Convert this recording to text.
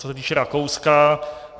Co se týče Rakouska.